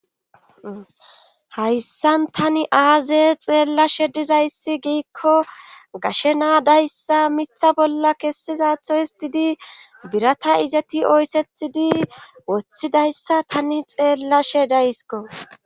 hayssan tani aaze xeellashe dizayssi giikko gashe naadayssa mitha bolla kessizatho histidi birata izati oyssethidi woththidayssa tani xeellashe daysko